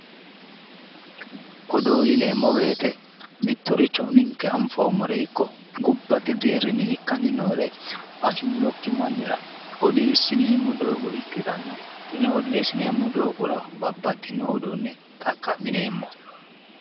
Odoo yineemmo woyte mittoricho ninke anfoommoreno ikko gobbate deerrinni ikkanni noore afinokki mannira odeessineemmo doogo ikkitanna tini odeessineemmo doogono babbaxxino doogonni xaqqa'mineemmo